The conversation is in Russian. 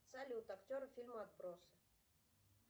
салют актеры фильма отбросы